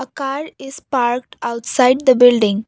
car is parked outside the building.